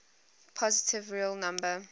positive real number